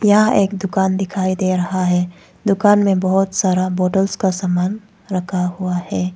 यहां एक दुकान दिखाई दे रहा है दुकान में बहुत सारा बोतल का सामान रखा हुआ है।